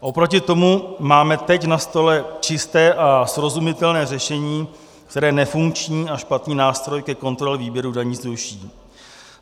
Oproti tomu máme teď na stole čisté a srozumitelné řešení, které nefunkční a špatný nástroj ke kontrole výběru daní zruší.